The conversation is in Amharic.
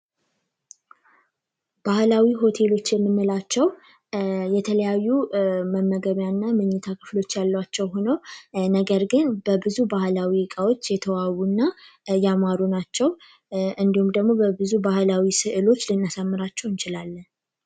ባህላዊ ሆቴሎች የምንላቸው የተለያዩ መመገቢያ እና ምኝታ ክፍሎች ያሏቸው ሁነው ነገር ግን በብዙ ባህላዊ እቃዎች የተዋቡ እና ያማሩ ናቸው። እና አንዲሁም ደግሞ በብዙ ባህላዊ ስዕሎች ልናስውባቸው እንችላለን።